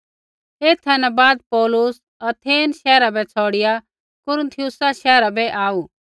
एथा न बाद पौलुस अथेन शैहरा बै छ़ौड़िआ कुरिन्थियुसा शैहरा बै आऊ